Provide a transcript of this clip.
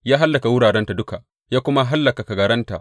Ya hallaka wurarenta duka ya kuma hallaka kagaranta.